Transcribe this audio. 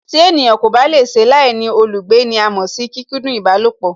Tí ènìyàn kò bá lè ṣe láìní olùgbé ní à mọ̀ sí kíkúndún ìbálòpọ̀